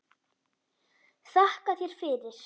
Þakka þér fyrir